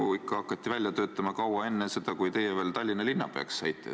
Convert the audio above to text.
Seda eelnõu hakati välja töötama ikka kaua enne seda, kui teie Tallinna linnapeaks saite.